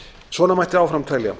svona mætti áfram telja